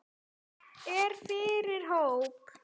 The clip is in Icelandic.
Fer fyrir hóp.